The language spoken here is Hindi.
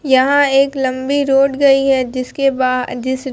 यहां एक लंबी रोड गई है जिसके